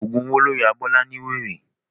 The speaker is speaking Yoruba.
Ọ̀gùn owó ló ya Bọ́lá ní wèrè.